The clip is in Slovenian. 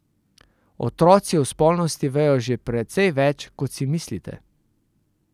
Otroci o spolnosti vejo že precej več, kot si mislite.